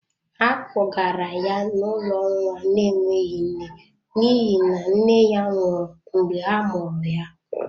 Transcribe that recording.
Ha kpogara ya n’ụlọ nwa na-enweghị nne n’ihi na nne ya nwụrụ mgbe a mụrụ ya.